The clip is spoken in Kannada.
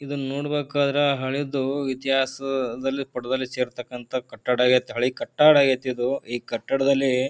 ಇದನ್ನ ನೋಡಬೇಕಾರೆ ಹಳೆದ್ದು ಇತಿಹಾಸದಲ್ಲಿ ಪಟ್ಟದಲ್ಲಿ ಸೇರತಕ್ಕಂತ ಕಟ್ಟಡ ಆಗೈತಿ ಹಳೆ ಕಟ್ಟಡ ಆಗೈತಿ ಇದು ಈ ಕಟ್ಟಡದಲ್ಲಿ--